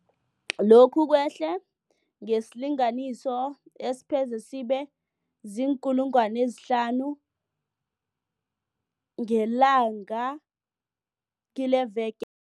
Lokhu kwehle ngesilinganiso esipheze sibe ziinkulungwana ezihlanu ngelanga kileveke